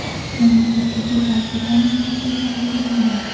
Mamlakatdagi barcha ta’lim muassasalari yopilgan .